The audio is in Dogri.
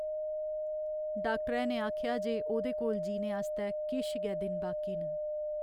डाक्टरै ने आखेआ जे ओह्दे कोल जीने आस्तै किश गै दिन बाकी न।